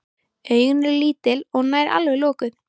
Augun eru lítil og nær alveg lokuð.